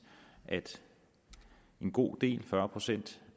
at en god del fyrre procent